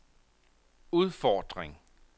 udfordring